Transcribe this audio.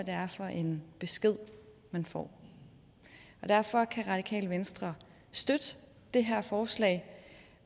er for en besked man får derfor kan radikale venstre støtte det her forslag